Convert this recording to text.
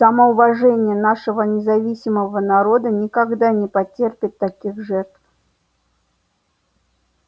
самоуважение нашего независимого народа никогда не потерпит таких жертв